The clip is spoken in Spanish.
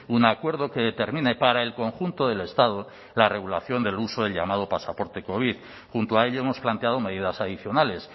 un acuerdo que determine para el conjunto del estado la regulación del uso del llamado pasaporte covid junto a ello hemos planteado medidas adicionales